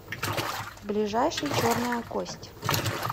ближайший черная кость